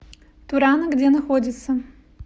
турана где находится